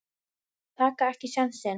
Taka ekki sénsinn.